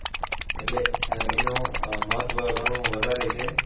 એટલે આહ એનું આહ મહત્વ ઘણું વધારે છે.